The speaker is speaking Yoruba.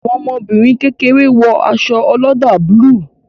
Àwọn ọmọbìnrin kékeré wo aṣọ oloda búlúù